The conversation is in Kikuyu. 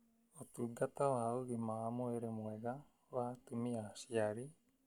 Ũtungata wa ũgima wa mwĩrĩ mwega wa atumia aciari